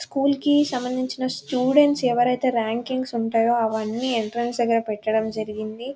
School కి సంబందించిన students ఎవరైతే ర్యాంకింగ్స్ ఉంటాయో అవని ఎంట్రెన్స్ దగ్గర పెట్టడం జరిగింది .